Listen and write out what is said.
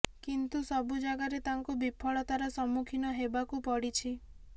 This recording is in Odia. କିନ୍ତୁ ସବୁ ଯାଗାରେ ତାଙ୍କୁ ବିଫଳତାର ସମ୍ମୁଖୀନ ହେବାକୁ ପଡ଼ିଛି